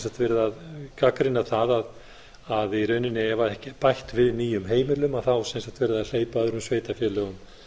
sagt verið að gagnrýna það að ef í rauninni er ekki bætt við nýjum heimilum þá er verið að hleypa öðrum sveitarfélögum